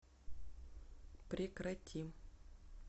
прекрати